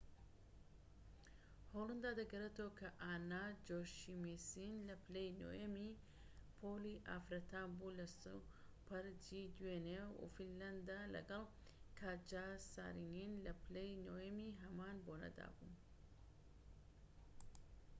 هۆلەندا دەگرێتەوە کە ئانا جۆشیمسین لە پلەی نۆیەمی پۆلی ئافرەتان بوو لە سوپەر جی دوێنێ و فینلەندە لەگەڵ کاتجا سارینین لە پلەی نۆیەمی هەمان بۆنەدا بوو